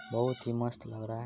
बहुत ही मस्त लग रहा है।